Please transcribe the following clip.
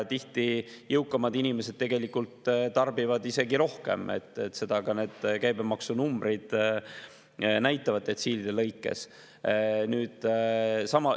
Tihti jõukamad inimesed tarbivad isegi rohkem, seda ka need käibemaksunumbrid näitavad detsiilide lõikes.